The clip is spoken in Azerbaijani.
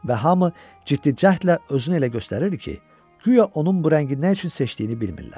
Və hamı ciddi cəhdlə özünü elə göstərirdi ki, guya onun bu rəngi nə üçün seçdiyini bilmirlər.